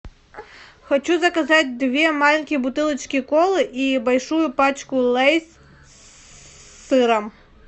хочу заказать две маленькие бутылочки колы и большую пачку лейс с сыром